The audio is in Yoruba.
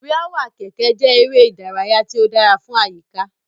Wiawa keke je eré ìdárayá ti o si dara fun ayika